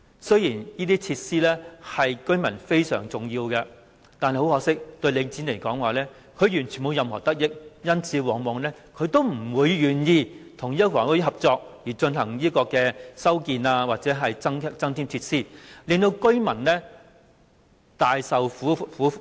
雖然這些設施對居民非常重要，但很可惜，由於這些設施對領展而言完全沒有任何得益，因此，它往往不會願意與房委會合作，進行修建或增添設施，令居民受苦。